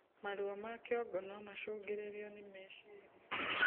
Maruo ma kĩongo nomacungiririo ni mecirĩa